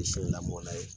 lamɔnna ye